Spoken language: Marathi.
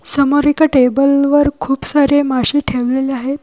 समोर एका टेबल वर खूप सारे माशे ठेवलेले आहेत.